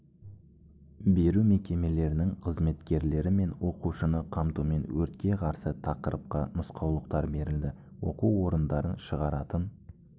беру мекемелерінің қызметкерлері мен оқушыны қамтумен өртке қарсы тақырыпқа нұсқаулықтар берілді оқу орындарын шығаратын